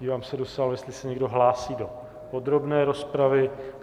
Dívám se do sálu, jestli se někdo hlásí do podrobné rozpravy.